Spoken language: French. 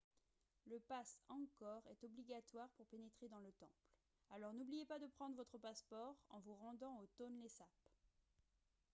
le passe angkor est obligatoire pour pénétrer dans le temple alors n'oubliez pas de prendre votre passeport en vous rendant au tonlé sap